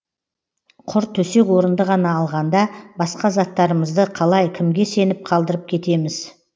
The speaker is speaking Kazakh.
құр төсек орынды ғана алғанда басқа заттарымызды қалай кімге сеніп қалдырып кетеміз